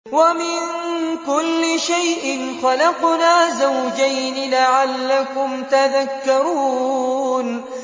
وَمِن كُلِّ شَيْءٍ خَلَقْنَا زَوْجَيْنِ لَعَلَّكُمْ تَذَكَّرُونَ